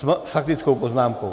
S faktickou poznámkou?